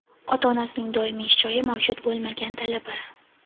Ota-onasining doimiy ish joyi mavjud bo‘lmagan talaba;.